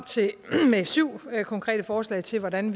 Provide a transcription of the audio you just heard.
med syv konkrete forslag til hvordan